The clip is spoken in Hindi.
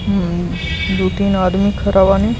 हम्म दो-तीन आदमी खरा बानी।